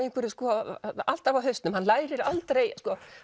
alltaf á hausnum hann